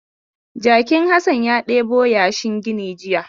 Jakin Hassan ya ɗebo yashin gini jiya.